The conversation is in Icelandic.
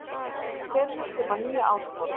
Tel mig þurfa nýja áskorun